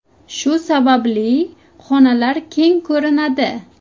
Shu sababli xonalar keng ko‘rinadi.